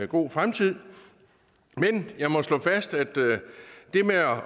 god fremtid men jeg må slå fast at det med